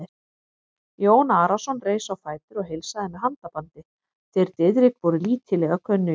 Jón Arason reis á fætur og heilsaði með handabandi, þeir Diðrik voru lítillega kunnugir.